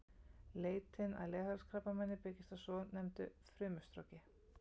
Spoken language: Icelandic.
Leitin að leghálskrabbameini byggist á svonefndu frumustroki.